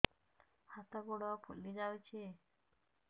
ହାତ ଗୋଡ଼ ଫୁଲି ଯାଉଛି